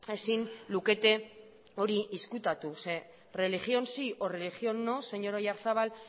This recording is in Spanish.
ezin lukete hori ezkutatu zeren religión sí o religión no señor oyarzabal